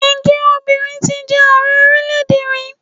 Ǹjẹ́ obìnrin ti jẹ Ààrẹ orílẹ̀-èdè rí?